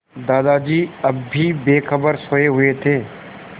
दादाजी अब भी बेखबर सोये हुए थे